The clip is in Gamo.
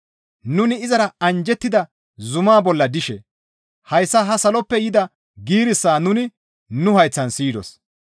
Nuni izara anjjettida zumaa bolla dishe hayssa saloppe ha yida giirissaa nuni nu hayththan siyidos.